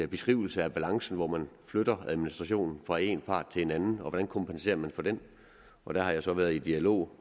beskrivelse af balancen når man flytter administrationen fra en part til en anden hvordan kompenserer man for det og der har jeg så været i dialog